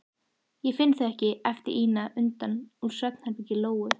Ég finn þau ekki, æpti Ína innan úr svefnherbergi Lóu.